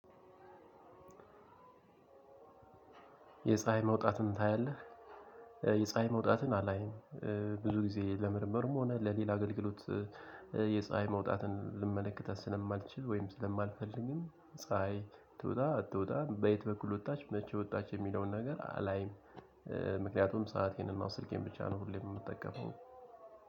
የፀሀይ መውጣትን ታያለህ? የፀሀይ መውጣትን አላይም ብዙ ጊዜ ለምርምርም ሆነ ለሌላ አገልግሎት። የፀሀይ መውጣትን ልመለከት ስለማልችል ወይም ስለማልፈልግም ፀሀይ ትውጣ አትውጣም በየት በኩል ወጣች መቼ ወጣች የሚለውን ነገር አላይም። ምክንያቱም ሰአቴንና ስልኬን ብቻ ነው ሁሌም የምጠቀመው።